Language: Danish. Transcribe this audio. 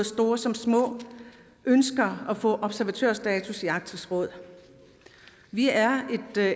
store som små ønsker at få observatørstatus i arktisk råd vi er